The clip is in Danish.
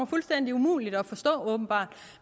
fuldstændig umuligt at forstå